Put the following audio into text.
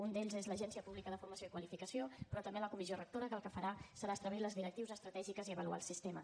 un d’ells és l’agència pública de formació i qualificació però també la comissió rectora que el que farà serà establir les directrius estratègiques i avaluar el sistema